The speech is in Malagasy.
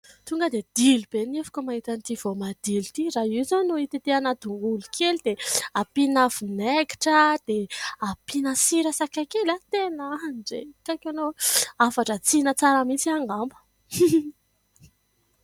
Tonga de dilo be ny nifiko mahita ity voamadilo ity. Raha io zao no hitetehana tongolo kely dia ampina vinaigitra, dia ampina sira sakay kely an! Tena andrekaiky enao o! Hafan-dratsina tsara mihitsy ahy angamba.